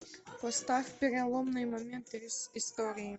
поставь переломный момент истории